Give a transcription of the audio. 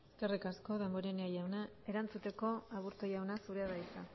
eskerrik asko damborenea jauna erantzuteko aburto jauna zurea da hitza